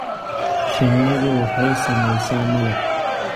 Shinnidu waxay samaysaa malab.